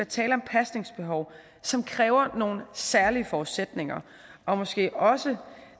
tale om pasningsbehov som kræver nogle særlige forudsætninger og måske også